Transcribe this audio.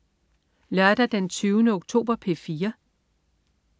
Lørdag den 20. oktober - P4: